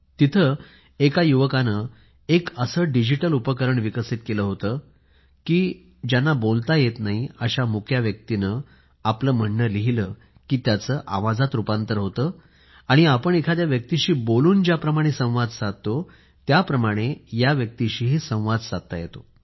तिथे एका युवकाने एक असे डीजीटल उपकरण विकसित केले होते की बोलता येत नाही अशा मूक व्यक्तीने आपले म्हणणे लिहिले की त्याचे आवाजात रुपांतर होते आणि आपण एखाद्या व्यक्तीशी बोलून ज्याप्रमाणे संवाद साधतो त्या प्रमाणे या व्यक्तीशीही संवाद साधू शकतो